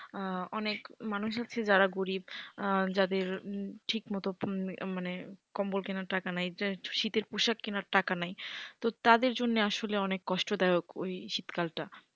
অনেক মানুষ হচ্ছে যারা গরীব যাদের ঠিক মতো মানে কম্বল কেনার টাকা নেই যাদের শীতের পোশাক কেনার টাকা নেই। তাদের জন্য আসলে অনেক কষ্টদায়ক ওই শীতকালটা।